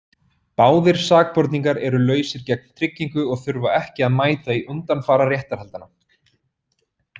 Báðir sakborningar eru lausir gegn tryggingu og þurfa ekki að mæta í undanfara réttarhaldanna.